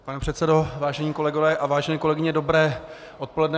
Pane předsedo, vážení kolegové a vážené kolegyně, dobré odpoledne.